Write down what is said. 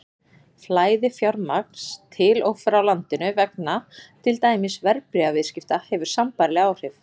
Flæði fjármagns til og frá landinu vegna til dæmis verðbréfaviðskipta hefur sambærileg áhrif.